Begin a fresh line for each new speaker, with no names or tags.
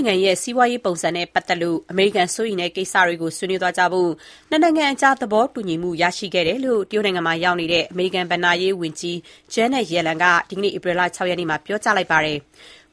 င်ငံရဲ့ စီးပွားရေးပုံစံနဲ့ပတ်သက်လို့ အမေရိကန် စိုးရိမ်တဲ့ကိစ္စတွေကို ဆွေးနွေးသွားကြဖို့ နှစ်နိုင်ငံအကြား သဘောတူညီမှု ရရှိခဲ့တယ်လို့ တရုတ်နိုင်ငံမှာ ရောက်နေတဲ့ အမေရိကန်ဘဏ္ဍာရေးဝန်ကြီး Janet Yellen က ဒီကနေ့ ဧပြီလ ၆ ရက်နေ့မှာ ပြောကြားလိုက်ပါတယ်။